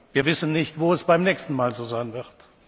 Srebrenica. Wir wissen nicht, wo es beim nächsten Mal so